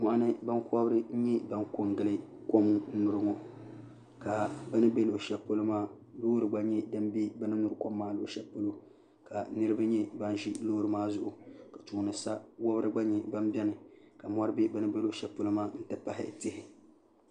Moɣini bin kobiri nyɛ nan kumdili kon nyuri